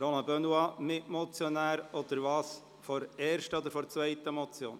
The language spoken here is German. Ist Roland Benoit Mitmotionär von der ersten oder zweiten Motion?